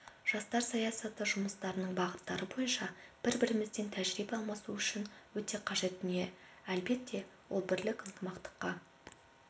жастар саясаты жұмыстарының бағыттары бойынша бір-бірімізбен тәжірибе алмасу үшін өте қажет дүние әлбетте ол бірлік ынтымаққа